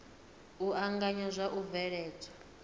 u anganya na u bveledzwa